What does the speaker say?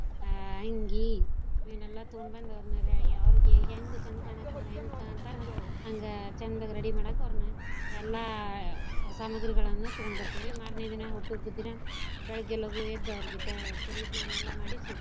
ಹಾ ಅಂಗಿ ಇವ್ನೆಲ್ಲಾ ತುಗೋಂಬಂದು ಅವ್ರನೆಲ್ಲಾ ಅವ್ರಗೆ ಹೆಂಗ ಚಂದ ಕಾಣಾಕ್ ಅವ್ರ ಹೆಂಗ್ ಕಾಣ್ತಾರ ಹಂಗ ಚಂದಗ ready ಮಾಡಾಕ ಅವ್ರ್ನ ಎಲ್ಲಾ ಸಾಮಗ್ರಿಗಳನ್ನು ತೂಗೋಂಡ್ ಬರ್ತೆವ್ ರಿ. ಮಾರನೇ ದಿನಾ ಹುಟ್ಟು ಹಬ್ಬದ್ ದಿನಾ ಬೆಳಗ್ಗೆ ಲಗೂ ಎದ್ದು ಅವ್ರಗೆ ತೇ~ ತೆಲಿ ಸ್ನಾನಾ ಎಲ್ಲಾ ಮಾಡಿಸಿ.